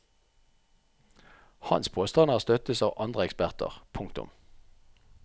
Hans påstander støttes av andre eksperter. punktum